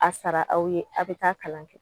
A sara aw ye aw bɛ taa kalan kɛ